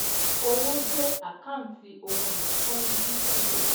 Owó jẹ́ àkántì ohun ìní to ń dínkù.